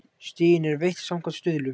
Stigin eru veitt samkvæmt stuðlum.